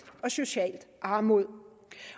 og socialt armod